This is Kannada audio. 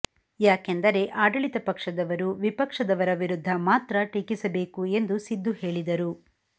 ಯಾಕೆಂದರೆ ಆಡಳಿತ ಪಕ್ಷದವರು ವಿಪಕ್ಷದವರ ವಿರುದ್ಧ ಮಾತ್ರ ಟೀಕಿಸಬೇಕು ಎಂದು ಸಿದು ಹೇಳಿದರು